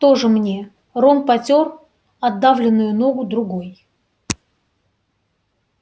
тоже мне рон потёр отдавленную ногу другой